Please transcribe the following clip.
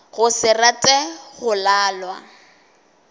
go se rate go lalwa